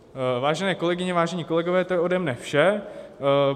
Vážené kolegyně, vážení kolegové, to je ode mne vše.